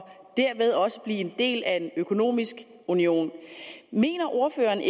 dermed også blive en del af en økonomisk union mener ordføreren